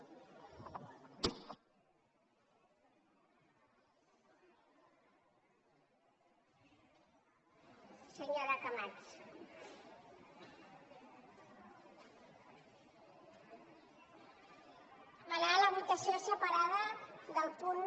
per demanar la votació separada del punt